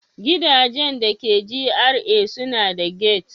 Gidajen da ke GRA suna da gate.